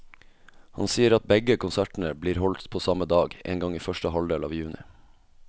Han sier at begge konsertene blir holdt på samme dag, en gang i første halvdel av juni.